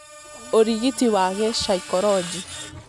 ũrigiti wa gĩcaikoronjĩ